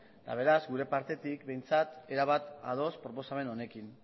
eta beraz gure partetik behintzat erabat ados proposamen honekin